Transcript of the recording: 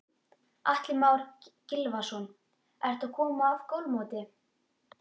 Atli Már Gylfason: Ertu að koma af golfmóti?